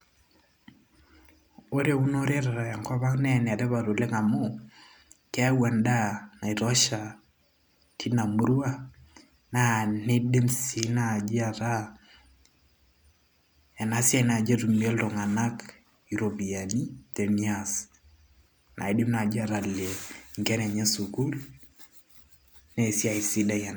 ore eunore te tenkop ang naa enetipat oleng amuu keyau endaa naitosha tina murua naa nidim sii naaji ataaena siai naaji etumie iltung'anak iropiyiani tenias naidim naaji atalie inkera enye sukuul naa esiai sidai ena.